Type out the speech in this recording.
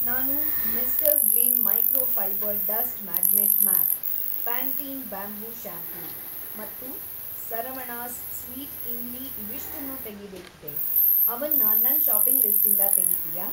ನಾನು mister Gleem microfibre dust magnet mop, Pantene bamboo shampoo ಮತ್ತು Saravanas sweet imli ಇವಿಷ್ಟನ್ನೂ ತೆಗೀಬೇಕಿದೆ, ಅವನ್ನ ನನ್‌ ಷಾಪಿಂಗ್‌ ಲಿಸ್ಟಿಂದ ತೆಗೀತೀಯಾ?